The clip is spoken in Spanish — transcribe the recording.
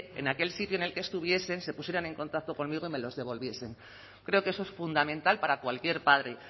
en aquel sitio en el que estuviesen se pusieran en contacto conmigo y me los devolviesen creo que eso es fundamental para cualquier padre